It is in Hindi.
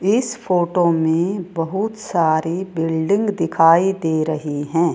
इस फोटो मे बहुत सारी बिल्डिंग दिखाई दे रही है।